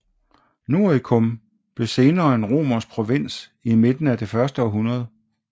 Noricum blev senere en romersk provins i midten af det første århundrede